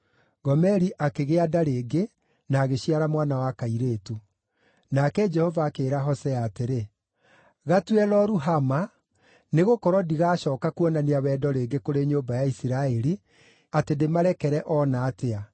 Gomeri akĩgĩa nda rĩngĩ na agĩciara mwana wa kairĩtu. Nake Jehova akĩĩra Hosea atĩrĩ, “Gatue Lo-Ruhama, nĩgũkorwo ndigacooka kuonania wendo rĩngĩ kũrĩ nyũmba ya Isiraeli, atĩ ndĩmarekere o na atĩa.